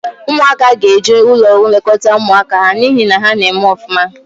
Ụmụaka ga-eju ụlọ nlekọta ụmụaka ha n'ihi na ha na-eme ọfụma.